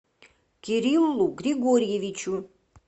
кириллу григорьевичу